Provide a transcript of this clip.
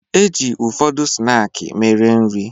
E ji ụfọdụ snaakị mere nri.